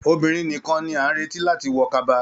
Obìnrin nìkàn ní a n retí láti wọ kaba.